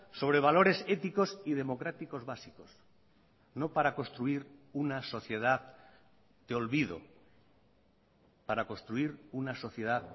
sobre valores éticos y democráticos básicos no para construir una sociedad de olvido para construir una sociedad